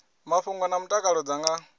mafhungo na mutakalo dza nga